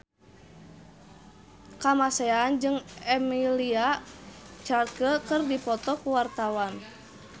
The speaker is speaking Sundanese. Kamasean jeung Emilia Clarke keur dipoto ku wartawan